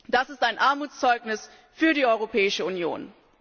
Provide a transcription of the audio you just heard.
Das ist ein Armutszeugnis für die Europäische Union.